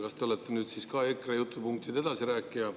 Kas te olete siis ka nüüd EKRE jutupunktide edasirääkija?